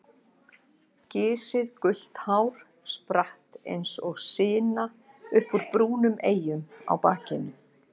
Gisið gult hár spratt eins og sina upp úr brúnum eyjum á bakinu.